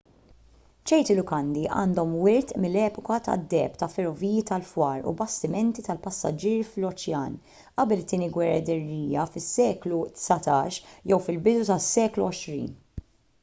ċerti lukandi għandhom wirt mill-epoka tad-deheb ta' ferroviji tal-fwar u bastimenti tal-passiġġieri fl-oċean qabel it-tieni gwerra dinjija fis-seklu 19 jew fil-bidu tas-seklu 20